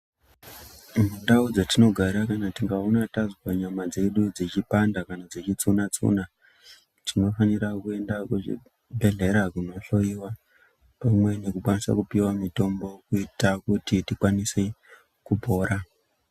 Mundau dzatinogara kana tikaona tazwa nyama dzedu dzeipanda kana dzeitsina tsuna tinofanira kuenda kuzvibhedhleya kunohloyiwa pamwe nekukwanisa kuoiwa mitombo kuita kuti tikwanise kupora.